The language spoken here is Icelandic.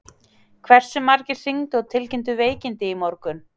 Hversu margir hringdu og tilkynntu veikindi í morgun?